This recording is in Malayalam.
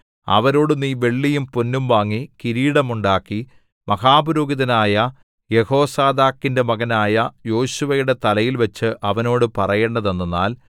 അവരോടു നീ വെള്ളിയും പൊന്നും വാങ്ങി കിരീടം ഉണ്ടാക്കി മഹാപുരോഹിതനായ യെഹോസാദാക്കിന്റെ മകനായ യോശുവയുടെ തലയിൽ വച്ച് അവനോട് പറയേണ്ടതെന്തെന്നാൽ